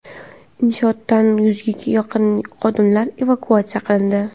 Inshootdan yuzga yaqin xodimlar evakuatsiya qilindi.